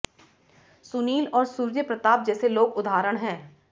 सुनील और सूर्य प्रताप जैसे लोग उदाहरण हैं